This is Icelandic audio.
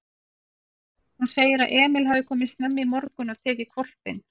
Hún segir að Emil hafi komið snemma í morgun og tekið hvolpinn.